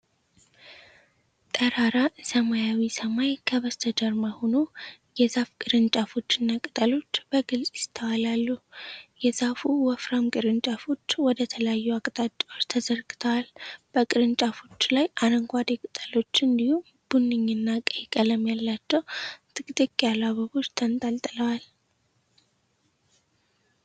ጠራራ ሰማያዊ ሰማይ ከበስተጀርባ ሆኖ፣ የዛፍ ቅርንጫፎች እና ቅጠሎች በግልጽ ይስተዋላሉ። የዛፉ ወፍራም ቅርንጫፎች ወደ ተለያዩ አቅጣጫዎች ተዘርግተዋል፤ በቅርንጫፎቹ ላይ አረንጓዴ ቅጠሎች እንዲሁም ቡኒ እና ቀይ ቀለም ያላቸው ጥቅጥቅ ያሉ አበቦች ተንጠልጥለዋል።